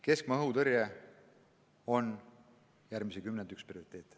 Keskmaa-õhutõrje on üks järgmise kümnendi prioriteete.